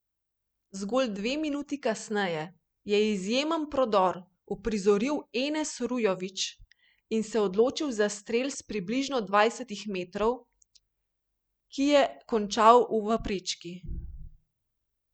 Zgolj dve minuti kasneje je izjemen prodor uprizoril Enes Rujović in se odločil za strel s približno dvajsetih metrov, ki je ob končal v prečki.